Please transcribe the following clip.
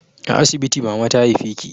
A asibiti mama ta haife ki